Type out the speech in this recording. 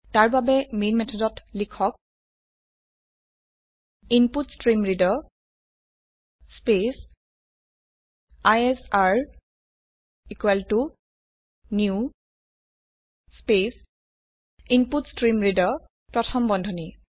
তাৰ বাবে মেন মেথডত লিখক input stream reader space ISR equal to new space input stream reader প্ৰথম বন্ধনী